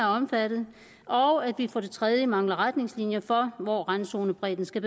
omfattet og at vi for det tredje mangler retningslinjer for hvor randzonebredden skal